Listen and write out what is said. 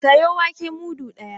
Sayo wake mudu ɗaya!